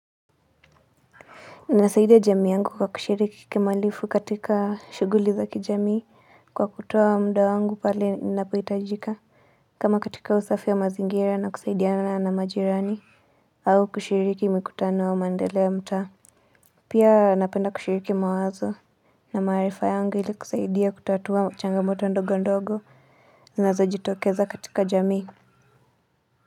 Nasaidia jamii yangu kwa kushiriki kikamilifu katika shughuli za kijamii kwa kutoa muda wangu pale ninapohitajika. Kama katika usafi wa mazingira na kusaidiana na majirani au kushiriki mikutano wa maendeleo ya mtaa. Pia napenda kushiriki mawazo na maarifa yangu ili kusaidia kutatua changamoto ndogo ndogo zinazojitokeza katika jamii.